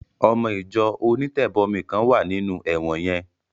Ọmọ Ìjọ onítẹ̀bọmi kan wà nínú ẹ̀wọ̀n yẹn